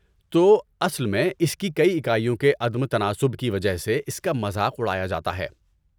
تو، اصل میں اس کی کئی اکائیوں کے عدم تناسب کی وجہ سے اس کا مذاق اڑایا جاتا ہے۔